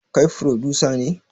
Kai frodusa ne?